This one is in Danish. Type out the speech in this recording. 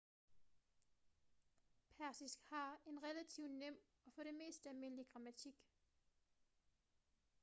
persisk har en relativt nem og for det meste almindelig grammatik